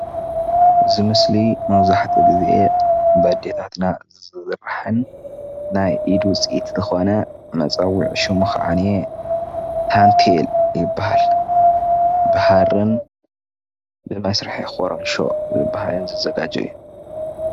እዚ ምስሊ መብዛሕትኡ ግዜ በደታትና ዝስራሕን ናይ ኢድ ውፅኢት ዝኾነ መፀወዒ ሸሙ ኸዓነ ታንቴል ይበሃል። ብሃርን ብመስርሒ ኮሮንሾን ዝበሃልን ዝዘጋጆ እዩ።